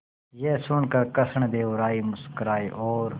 यह सुनकर कृष्णदेव राय मुस्कुराए और